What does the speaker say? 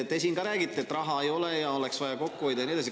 Te siin ka räägite, et raha ei ole ja oleks vaja kokku hoida ja nii edasi.